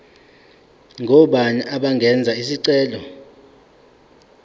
ngobani abangenza isicelo